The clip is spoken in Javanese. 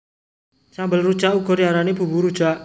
Sambel rujak uga diarani bumbu rujak